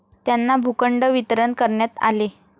त्यांना भूखंड वितरण करण्यात आले.